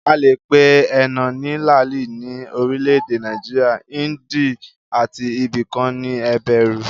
A le pe énà ní làálì ní orile-èdè Nàìjíríà, índì àti ibi kan ní ébérù